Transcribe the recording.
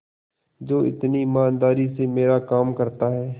जो इतनी ईमानदारी से मेरा काम करता है